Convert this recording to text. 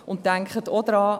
Denken Sie auch daran: